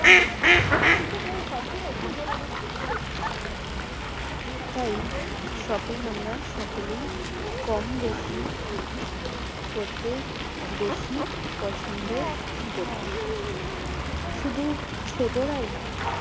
তাই shopping আমরা সকলেই কমবেশি করতে বেশি পছন্দ করি শুধু ছোটোরাই নয়